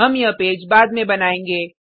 हम यह पेज बाद में बनाएंगे